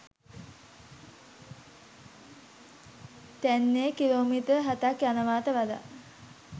තැන්නේ kilometre හතක් යනවාට වඩා